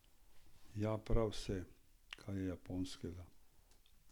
Jem prav vse, kar je japonskega.